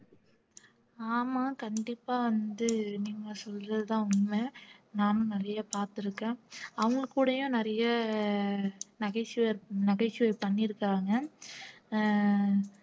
ஆமா கண்டிப்பா வந்து நீங்க சொல்றதுதான் உண்மை நானும் நிறைய பார்த்திருக்கேன் அவங்க கூடையும் நிறைய நகைச்சுவை நகைச்சுவை பண்ணியிருக்காங்க அஹ்